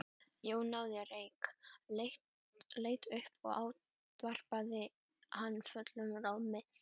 Jón náði reyk, leit upp og ávarpaði hann fullum rómi.